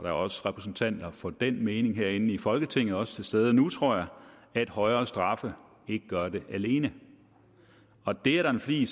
er også repræsentanter for den mening herinde i folketinget og også tilstede nu tror jeg at højere straffe ikke gør det alene det er der en flig